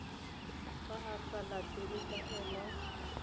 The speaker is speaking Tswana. fa a sa latele taelo